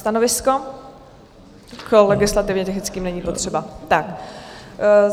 Stanovisko - u legislativně technické není potřeba.